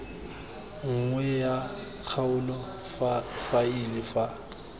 nngwe ya kgaolo faele fa